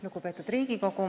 Lugupeetud Riigikogu!